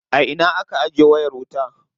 A ina aka ajiye wayar wuta.